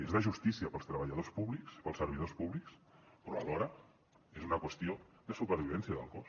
és de justícia per als treballadors públics per als servidors públics però alhora és una qüestió de supervivència del cos